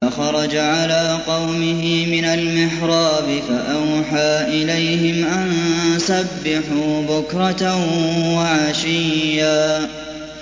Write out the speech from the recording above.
فَخَرَجَ عَلَىٰ قَوْمِهِ مِنَ الْمِحْرَابِ فَأَوْحَىٰ إِلَيْهِمْ أَن سَبِّحُوا بُكْرَةً وَعَشِيًّا